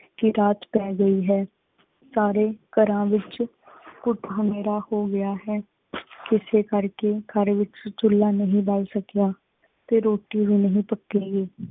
ਕੀ ਰਾਤ ਪੈ ਗੀ ਹੈਂ, ਸਾਰੇ ਘਰਾਂ ਵਿਚ ਗੁੱਟ ਹਨੇਰਾ ਹੋ ਗਿਆ ਹੈ। ਕਿਸੇ ਕਰ ਕੇ ਘਰ ਵਿਚ ਚੂਲਾ ਨਹੀਂ ਬੱਲ ਸਕਿਆ ਤੇ ਰੋਟੀ ਵੀ ਨਹੀਂ ਪੱਕੀ ਗਈ।